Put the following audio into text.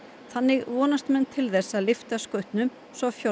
þannig vonast menn til þess að lyfta skutnum svo